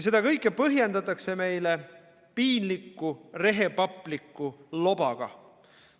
Seda kõike põhjendatakse meile piinliku rehepapliku lobaga.